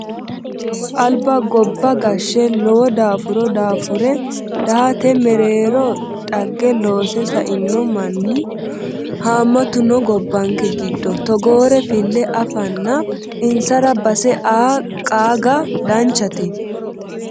Alba gobba gashe lowo daafuro daafure dahate mereero dhagge loose saino mannu hamatu no gobbanke giddo togore file afanna insara base aa qaaga danchate